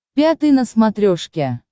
пятый на смотрешке